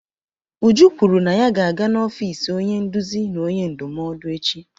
Uju kwuru na ya ga-aga n'ọfiisi onye nduzi na onye ndụmọdụ echi.